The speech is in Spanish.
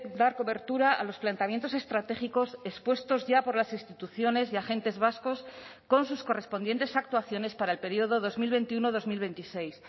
dar cobertura a los planteamientos estratégicos expuestos ya por las instituciones y agentes vascos con sus correspondientes actuaciones para el periodo dos mil veintiuno dos mil veintiséis